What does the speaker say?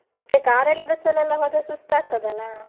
ಮತ್ತೆ car ಅಲ್ಲಿ bus ಅಲ್ಲೆಲ್ಲಾ ಹೋದ್ರೆ ಸುಸ್ತಾಗ್ತದೆ ಅಲ್ಲಾ?